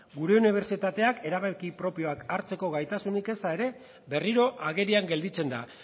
gure unibertsitateak erabaki propioak hartzeko gaitasunik eza ere berriro agerian gelditzen da